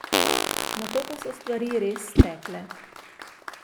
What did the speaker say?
Nato pa so stvari res stekle.